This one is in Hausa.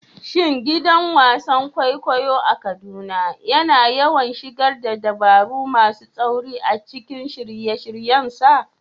Shin gidan wasan kwaikwayo a Kaduna yana yawan shigar da dabaru masu tsauri a cikin shirye-shiryensa?